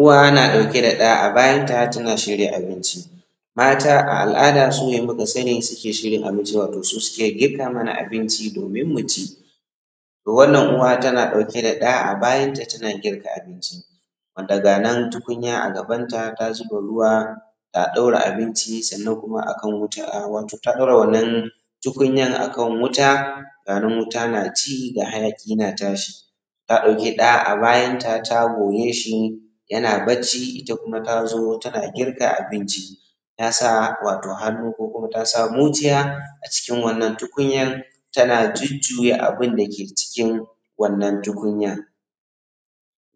Uwa na ɗauke da ɗa a bayan ta tana shirya abinci mata a al`ada sune muka sani suke shirya abinciwato su suke girka mana abinci domin mu ci to wanan Uwa tana ɗauke da ɗa a bayanta tana girka abinci wanda ga nan tukunya a gabanta ta zuba ruwa ta ɗora abinci sannan kuma a kan wuta, wato ta ɗora wannan tukunyan a kan wuta ganin wuta na ci ga hayaƙi na tashi ta ɗauki ɗa a bayanta ta goye shi yana bacci ita kuma ta zo tana girka abinci tasa wato hannu ko kuma tasa mucciya a cikin wannan tukunya ta jujjuya abin dake cikin wannan tukunyar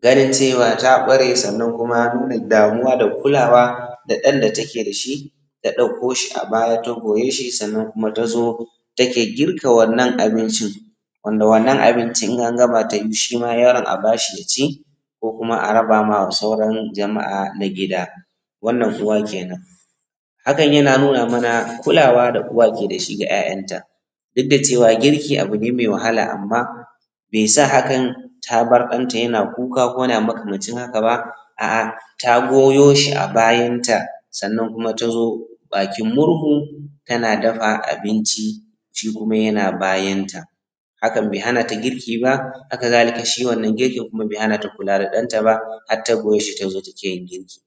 ganin cewa ta ɓare sannan kuma da damuwa da kulawa da ɗan da take da shi ta ɗauko shi a bayata goya shi sannan kuma ta o take girka wannan abincin wanda wannan abincin in an gama shi ma yaron yaron a bashi ya ci ko kuma a raba ma sauran jama`a na gida Wannan Uwa kenan hakan yana nuna mana kulawa da Uwa ke da shi ga `ya`yanta duk da cewa girki abu ne mai wahala amma bai sa hakan ta bar ɗan ta yana kuka ko yana makamancin haka ba, a`a ta goya shi a bayanta sannan kuma ta zo bakin murhu tana dafa abinci shi kuma yana bayanta hakan bai hana ta girkin ba. Haka zalika, shi wannan girkin bai hana ta kula da ɗan ta ba har ta goye shi ta zo take girki.